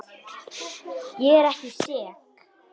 Ég er ekki sek.